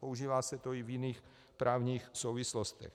Používá se to i v jiných právních souvislostech.